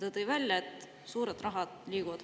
Ta tõi välja, kuhu suured rahad praegu liiguvad.